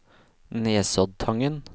Nesoddtangen